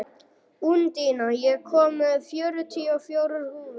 Úndína, ég kom með fjörutíu og fjórar húfur!